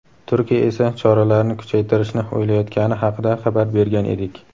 Turkiya esa choralarni kuchaytirishni o‘ylayotgani haqida xabar bergan edik.